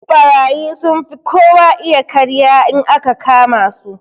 Ɓarayi sunfi kowa iya karya in aka kama su.